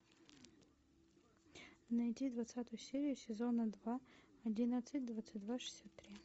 найди двадцатую серию сезона два одиннадцать двадцать два шестьдесят три